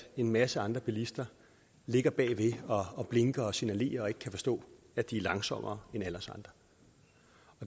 en masse andre bilister ligger bagved og blinker og signalerer og ikke kan forstå at de er langsommere end alle os andre